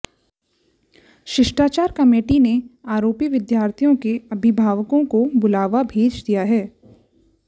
शिष्टाचार कमेटी ने आरोपी विद्यार्थी के अभिभावकोंे को बुलावा भेज दिया है